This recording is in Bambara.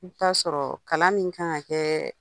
I bi taa sɔrɔ kalan min kan ka kɛ